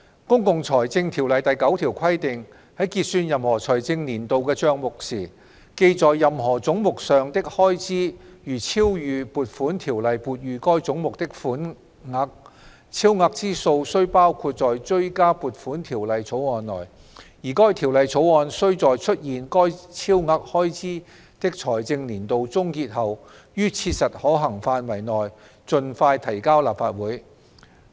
《公共財政條例》第9條規定："在結算任何財政年度的帳目時，記在任何總目上的開支如超逾撥款條例撥予該總目的款額，超額之數須包括在追加撥款條例草案內，而該條例草案須在出現該超額開支的財政年度終結後，於切實可行範圍內盡快提交立法會。